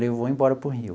E vou embora para o Rio.